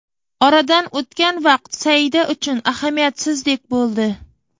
Oradan o‘tgan vaqt Saida uchun ahamiyatsizdek bo‘ldi.